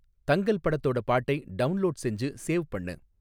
தங்கல் படத்தோட பாட்டை டவுண்லோட் செஞ்சு சேவ் பண்ணு